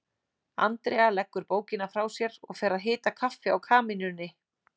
Andrea leggur bókina frá sér og fer að hita kaffi á kamínunni.